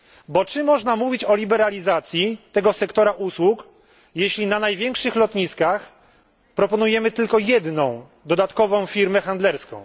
Bo czy można mówić o liberalizacji tego sektora usług, jeśli na największych lotniskach proponujemy tylko jedną dodatkową firmę handlerską?